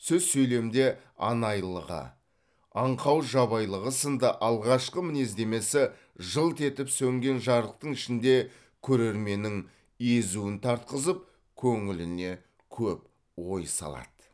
сөз сөйлемде анайылығы аңқау жабайылығы сынды алғашқы мінездемесі жылт етіп сөнген жарықтың ішінде көрерменнің езуін тартқызып көңіліне көп ой салады